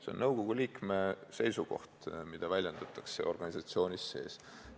See on nõukogu liikme seisukoht, mida väljendatakse organisatsiooni sees.